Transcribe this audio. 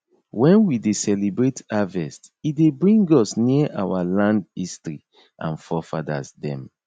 wen wi dey celebrate harvest e dey bring us near our land history and forefathers dem